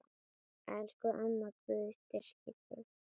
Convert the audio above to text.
Elsku amma, Guð styrki þig.